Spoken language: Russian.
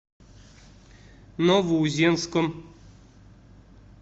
новоузенском